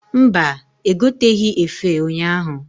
Mba, egoteghi efe ụnyaahụ.